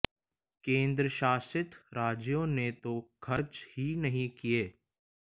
केंद्र शासित राज्यों ने तो खर्च ही नहीं किए